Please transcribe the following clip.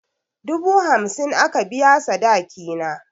Dubu hamsin aka biya sadaki na.